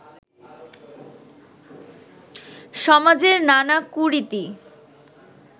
সমাজের নানা কুরীতি